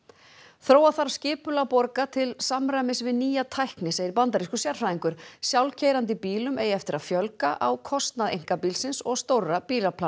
þróa þarf skipulag borga til samræmis við nýja tækni segir bandarískur sérfræðingur sjálfkeyrandi bílum eigi eftir að fjölga á kostnað einkabílsins og stórra